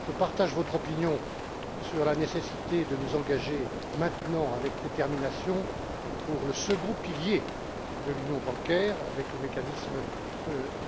Je partage votre opinion sur la nécessité de nous engager maintenant avec détermination en faveur du second pilier de l'union bancaire, c'est à dire le mécanisme